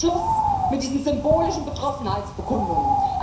Schluss mit diesen symbolischen Betroffenheitsbekundungen!